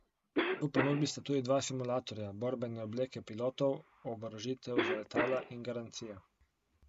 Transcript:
V ponudbi sta tudi dva simulatorja, borbene obleke pilotov, oborožitev za letala in garancija.